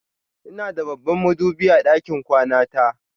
Ina da babban madubi a ɗakin kwana ta.